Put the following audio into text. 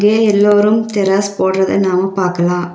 எ எல்லோரும் தெராஸ் போட்றத நாம பாக்கலா.